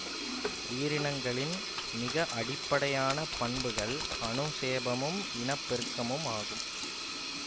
உயிரினங்களின் மிக அடிப்படையான பண்புகள் அனுசேபமும் இனப்பெருக்கமுமாகும்